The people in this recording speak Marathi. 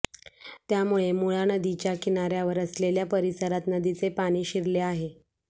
त्यामुळे मुळा नदीच्या किनाऱ्यावर असलेल्या परिसरात नदीचे पाणी शिरले आहे